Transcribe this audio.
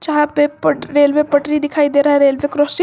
यहां पे पट रेलवे पटरी दिखाई दे रहा है रेलवे क्रॉसिंग ।